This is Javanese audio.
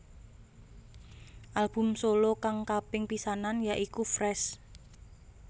Album solo kang kaping pisanan ya iku Fresh